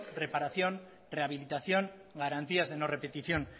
reparación rehabilitación garantías de no repetición